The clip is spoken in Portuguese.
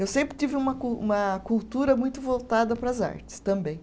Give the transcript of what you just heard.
Eu sempre tive uma cu, uma cultura muito voltada para as artes também.